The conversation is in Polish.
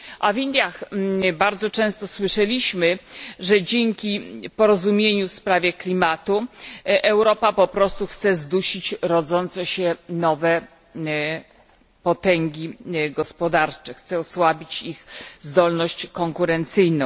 A w Indiach bardzo często słyszeliśmy, że dzięki porozumieniu w sprawie klimatu Europa po prostu chce zdusić rodzące się nowe potęgi gospodarcze, chce osłabić ich zdolność konkurencyjną.